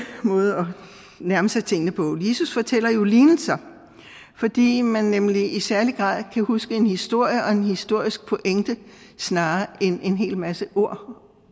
måde at nærme sig tingene på jesus fortæller jo lignelser fordi man nemlig i særlig grad kan huske en historie og en historisk pointe snarere end en hel masse ord